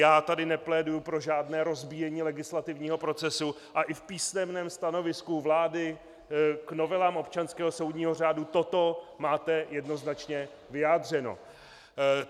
Já tady nepléduji pro žádné rozbíjení legislativního procesu a i v písemném stanovisku vlády k novelám občanského soudního řádu toto máte jednoznačně vyjádřeno.